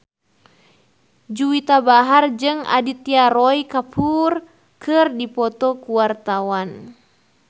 Juwita Bahar jeung Aditya Roy Kapoor keur dipoto ku wartawan